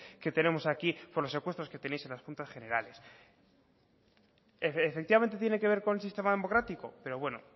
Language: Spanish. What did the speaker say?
que tenemos aquí con los presupuestos que tenéis en las juntas generales efectivamente tiene que ver con el sistema democrático pero bueno